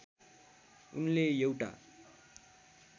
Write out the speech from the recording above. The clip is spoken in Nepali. उनले एउटा